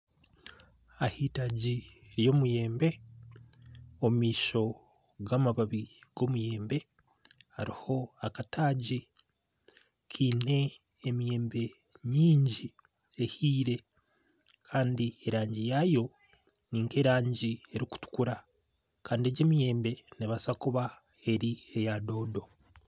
Ahitaagi ry'omuyembe omu maisho gamabaabi g'omuyembe hariho akataagi Kaine emiyembe maingi ehiire Kandi erangi yaayo nik'erangi erikutukura Kandi egi emiyembe neebaasa kuba eri eya doodo